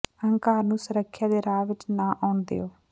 ਅਹੰਕਾਰ ਨੂੰ ਸੁਰੱਖਿਆ ਦੇ ਰਾਹ ਵਿੱਚ ਨਾ ਆਉਣ ਦਿਓ